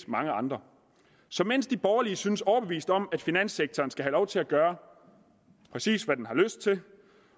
mange andre så mens de borgerlige synes overbevist om at finanssektoren skal have lov til at gøre præcis hvad den har lyst til